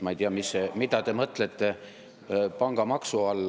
Ma ei tea, mida te mõtlete pangamaksu all.